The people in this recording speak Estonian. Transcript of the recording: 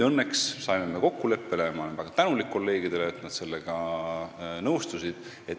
Õnneks me saime kokkuleppele ning ma olen väga tänulik kolleegidele, et nad sellega nõustusid.